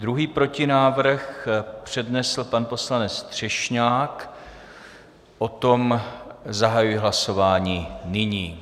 Druhý protinávrh přednesl pan poslanec Třešňák, o tom zahajuji hlasování nyní.